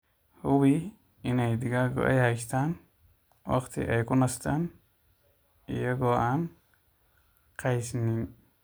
Hubi in digaaggu ay haystaan ??wakhti ay ku nastaan ??iyaga oo aan qasnayn.